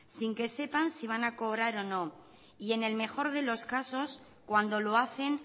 sin que sepan si van a cobrar o no y en el mejor de los casos cuando lo hacen